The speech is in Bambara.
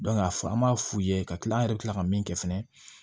a fɔ an b'a f'u ye ka kila an yɛrɛ bɛ tila ka min kɛ fɛnɛ